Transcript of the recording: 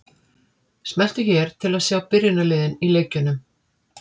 Smelltu hér til að sjá byrjunarliðin í leikjunum.